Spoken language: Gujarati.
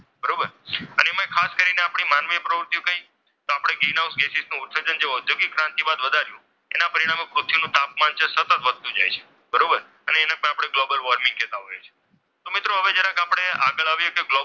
માનવીય પ્રવૃત્તિઓ કઈ તો આપણી ગ્રીનહાઉસ ગેસની ઉત્સર્જન આપણે ઔદ્યોગિક ક્રાંતિ બાદ વધાર્યો, એના પરિણામ સ્વરૂપે પૃથ્વીનું તાપમાન છે તે સતત વધતો જાય છે બરોબર અને તેને જ આપણે ગ્લોબલ વોર્મિંગ કહેતા હોઈએ છીએ . તો મિત્રો હવે જરાક આપણે આગળ આવીએ તો